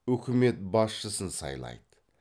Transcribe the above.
үкімет басшысын сайлайды